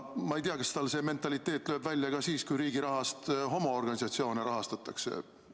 Ma ei tea, kas tal see mentaliteet lööb välja ka siis, kui riigi rahaga homoorganisatsioone rahastatakse.